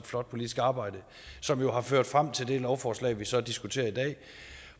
flot politisk arbejde som jo har ført frem til det lovforslag vi så diskuterer i dag